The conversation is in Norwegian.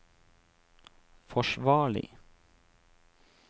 forsvarlig